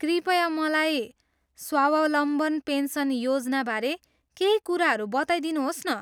कृपया मलाई स्वावलम्बन पेन्सन योजनाबारे केही कुराहरू बताइदिनुहोस् न।